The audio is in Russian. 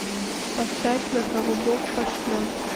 поставь на кого бог пошлет